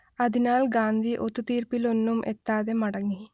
അതിനാൽ ഗാന്ധി ഒത്തുതീർപ്പിലൊന്നും എത്താതെ മടങ്ങി